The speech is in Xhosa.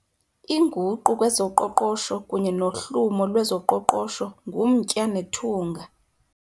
Inguqu kwezoqoqosho kunye nohlumo lwezoqoqosho ngumtya nethunga.